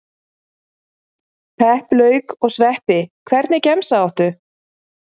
Pepp lauk og sveppi Hvernig gemsa áttu?